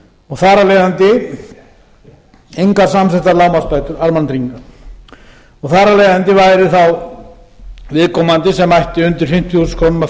og þar af leiðandi engar samþykktar lágmarksbætur almannatrygginga og þar af leiðandi væru þá viðkomandi sem ættu undir fimmtíu þúsund krónur að